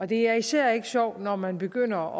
det er især ikke sjovt når man begynder